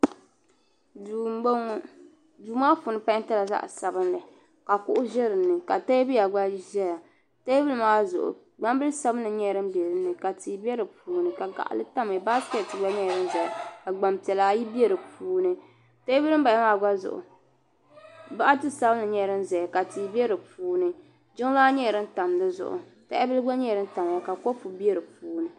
duu n bɔŋɔ duu maa puuni peentila zaɣ sabinli ka kuɣu ʒɛ dinni ka teebuya gba ʒɛya teebuli maa zuɣu gbambili sabinli nyɛla din bɛ dinni tia bɛ di puuni ka baskɛt gba nyɛla din ʒɛya ka gbanpiɛla ayi bɛ di puuni teebuli din bala maa gba zuɣu boɣati sabinli gba nyɛla din ʒɛya ka tia bɛ di puuni jiŋlaa nyɛla din tam dizuɣu tahabili gba nyɛla din tamya ka kɔpu bɛ di puuni